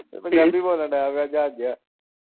ਫਿਰ ਪੰਜਾਬੀ ਬੋਲਣ ਲੱਗ ਗਿਆ ਜਹਾਜ਼ ਜਿਆ।